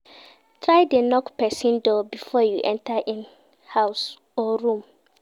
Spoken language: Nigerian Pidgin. Try de knock persin door before you enter in house or room